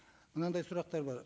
мынандай сұрақтар бар